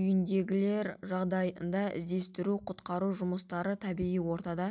үйінділері жағдайында іздестіру-құтқару жұмыстары табиғи ортада